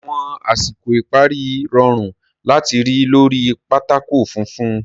Àwọn àsìkò ìparí rọrùn láti rí lórí pátákó funfun.